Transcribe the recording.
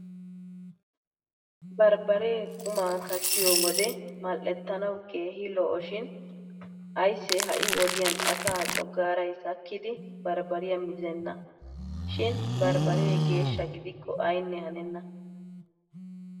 Barbbaree qumaa kattiyo wode mal"ettanawu keehi lo'shin aayssee ha"i wodiyan asaa coggaaray sakkidi barbbariya mizenna. Shin barbbaree geeshsha gidikko aynne hanenna.